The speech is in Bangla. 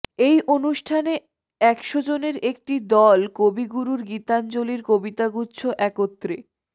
এই অনুষ্ঠানে একশ জনের একটি দল কবিগুরুর গীতাঞ্জলির কবিতাগুচ্ছ একত্রে